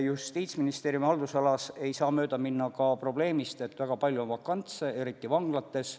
Justiitsministeeriumi haldusalas ei saa mööda minna ka probleemist, et väga palju on vakantseid kohti, eriti vanglates.